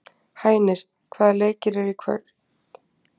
Hænir, hvaða leikir eru í kvöld?